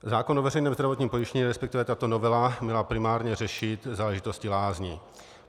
Zákon o veřejném zdravotním pojištění - respektive tato novela měla primárně řešit záležitosti lázní.